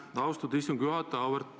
Aitäh, austatud istungi juhataja!